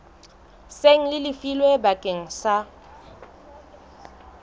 seng le lefilwe bakeng sa